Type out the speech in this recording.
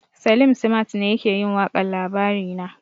Salim simat ne yake yin waƙar labarina